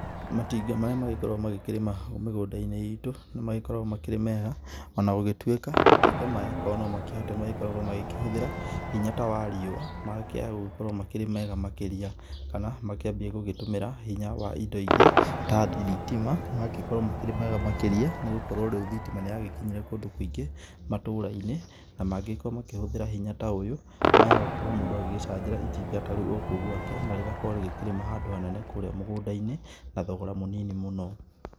Matinga marĩa magĩkoragwo makĩrĩma mĩgũnda-inĩ itũ nĩ magĩkoragwo makĩrĩ mega ona gũgĩtuĩka matinga maya korwo no makĩhote makoragwo makĩhũthĩra hinya ta wariũa magĩkĩaa gũkorwo makĩrĩ mega makĩria. Kana makĩambie gũgĩtũmĩra hinya wa indo ingĩ ta thitima mangĩkorwo makĩrĩ mega makĩria nĩ gũkorwo rĩu thitima nĩ yagĩkinyire kũndũ kũingĩ matũra-inĩ. Na mangĩkorwo makĩhũthĩra hinya ta ũyũ maya gũkorwo mũndũ agĩgĩcanjĩra itinga ta rĩu kũu gwake na rĩgakorwo rĩgĩkĩrĩma handũ ha nene kũrĩa mũgũnda-inĩ na thogora mũnini mũno.